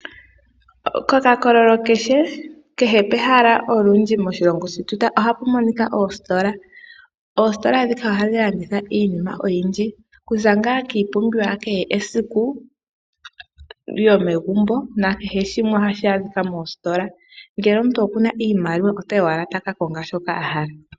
Kokakololo keshe kehe pehala olundji moshilongo shetu ohapu monika oositola, oositola dhika ohadhi landitha iinima oyindji okuza ngaa kiipumbiwa ya kehe esiku yomegumbo na kehe shimwe hashi adhika mositola ngele omuntu okuna iimaliwa otayi owala taka konga shoka ahala.